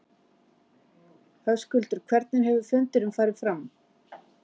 Höskuldur hvernig hefur fundurinn farið fram?